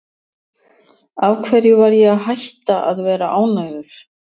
Af hverju ætti ég að hætta að vera ánægður?